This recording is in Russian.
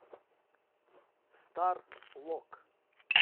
стар лок